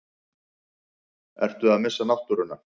Ertu að missa náttúruna?